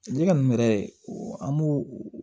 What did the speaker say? Ne ka nin yɛrɛ an b'o